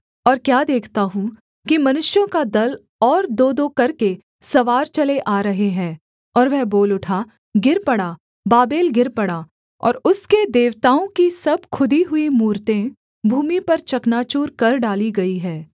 और क्या देखता हूँ कि मनुष्यों का दल और दोदो करके सवार चले आ रहे हैं और वह बोल उठा गिर पड़ा बाबेल गिर पड़ा और उसके देवताओं के सब खुदी हुई मूरतें भूमि पर चकनाचूर कर डाली गई हैं